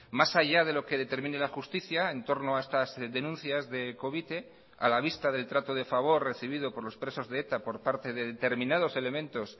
más allá de lo que determine la justicia en torno a estas denuncias de covite a la vista del trato de favor recibido por los presos de eta por parte de determinados elementos